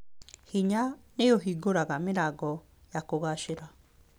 Hinya nĩ ũhingũraga mĩrango ya kũgaacĩra.